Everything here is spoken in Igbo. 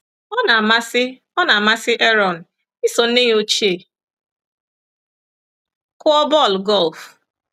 Ọ na-amasị Ọ na-amasị Aaron iso nne ya ochie kụọ bọl golf.